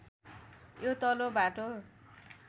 यो तल्लो बाटो